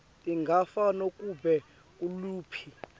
tingafakwa kunobe nguliphi